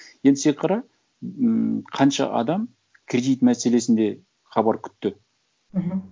енді сен қара ммм қанша адам кредит мәселесінде хабар күтті мхм